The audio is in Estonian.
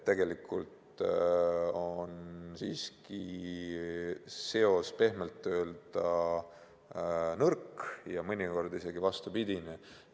Tegelikult on seos siiski pehmelt öeldes nõrk ja mõnikord ka vastupidine.